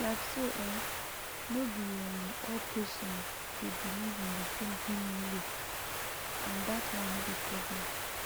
like so um no be um all patients dey believe in the same healing way and that one no be problem